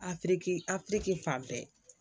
Afiriki afiriki fan bɛɛ